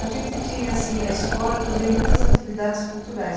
A gente tinha assim na escola também muitas atividades culturais.